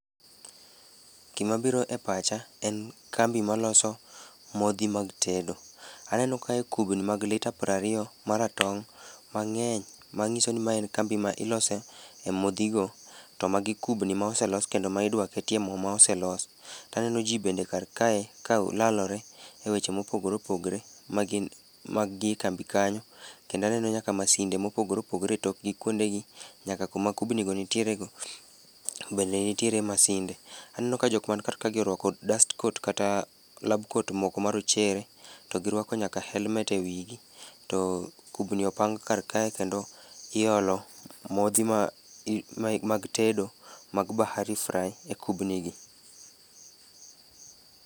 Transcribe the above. Gima biro e pacha en kambi ma loso modhi mag tedo. Aneno kae kubni mag lita prariyo maratong' mang'eny, ma ng'iso ni ma en kambi ma ilose e modhi go. To magi kubni ma oselos kendo ma idwa ketie mo ma oselos. Taneno ji bende kar kae ka o lalore e weche mopogore opogre, magin mag gi e kambi kanyo. Kenda neno masinde mopogore opogore e tokgi kuonde gi, nyaka kuma kubni go nitiere go bende nitiere masinde. Aneno ka jok man kar ka gi orwako dust coat kata lab coat moko marochere, to girwako nyaka helmet e wigi. To kubni opang kar kae kendo iolo modhi ma mai mag tedo mag Bahary Fry e kubni gi.